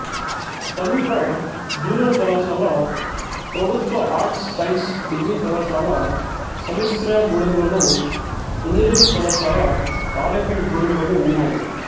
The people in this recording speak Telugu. సమీప జూనియర్ కళాశాల ప్రభుత్వ ఆర్ట్స్ సైన్స్ డిగ్రీ కళాశాల సమ్మిశ్రగూడెంలోను ఇంజనీరింగ్ కళాశాల తాడేపల్లిగూడెంలోనూ ఉన్నాయి